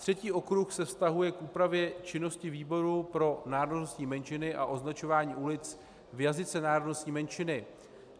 Třetí okruh se vztahuje k úpravě činnosti výboru pro národnostní menšiny a označování ulic v jazyce národnostní menšiny.